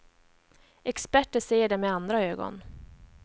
Experter ser det med andra ögon.